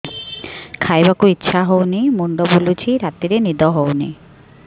ଖାଇବାକୁ ଇଛା ହଉନି ମୁଣ୍ଡ ବୁଲୁଚି ରାତିରେ ନିଦ ହଉନି